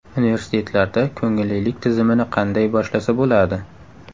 Universitetlarda ko‘ngillilik tizimini qanday boshlasa bo‘ladi?.